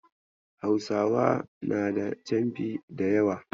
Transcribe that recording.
Hausawa na da canfi da yawa.